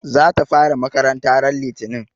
Za ta fara makaranta ran litinin